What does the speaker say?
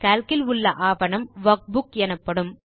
Calc இல் உள்ள ஆவணம் வர்க்புக் எனப்படும்